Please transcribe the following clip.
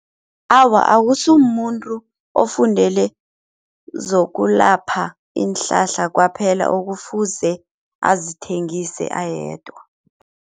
Awa akusimumuntu ofundele zokulapha iinhlahla kwaphela okufuze azithengise ayedwa.